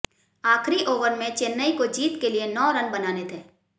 आखिरी ओवर में चेन्नई को जीत के लिए नौ रन बनाने थे